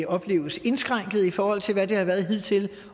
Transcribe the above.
opleves indskrænket i forhold til hvad det har været hidtil